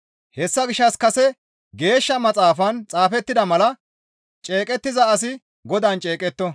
Hessa gishshas kase Geeshsha Maxaafan xaafettida mala, «Ceeqettiza asi Godaan ceeqetto.»